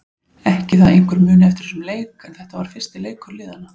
Ekki það að einhver muni eftir þessum leik en þetta var fyrsti leikur liðanna.